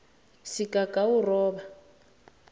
sigagawuroba